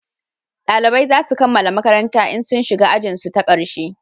dalibai zasu kammala makaranta in sun shiga ajin su ta karshe